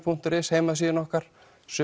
punktur is heimasíðunni okkar